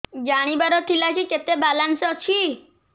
ଜାଣିବାର ଥିଲା କି କେତେ ବାଲାନ୍ସ ଅଛି